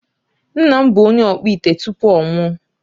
Nna m bụ onye ọkpụ ite tupu ọ nwụọ.